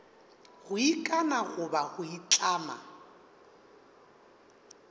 go ikana goba go itlama